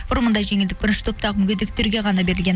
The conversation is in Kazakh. бұрын мұндай жеңілдік бірінші топтағы мүгедектерге ғана берілген